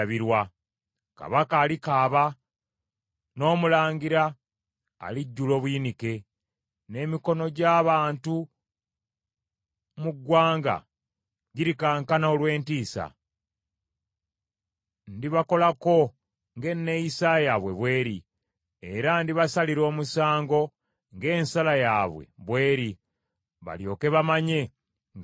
Kabaka alikaaba, n’omulangira alijjula obuyinike, n’emikono gy’abantu mu ggwanga girikankana olw’entiisa. Ndibakolako ng’enneeyisa yaabwe bw’eri, era ndibasalira omusango ng’ensala yaabwe bw’eri. Balyoke bamanye nga nze Mukama Katonda.’ ”